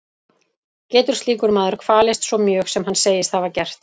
Getur slíkur maður kvalist svo mjög sem hann segist hafa gert?